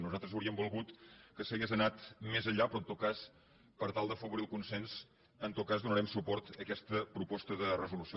nosaltres hauríem volgut que s’hagués anat més enllà però en tot cas per tal d’afavorir el consens donarem suport a aquesta proposta de resolució